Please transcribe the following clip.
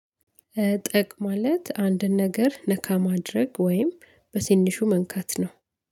ጠቅ ማለት አንድን ነገር ነካ ማድረግ ወይም በትንሹ መንካት ነው።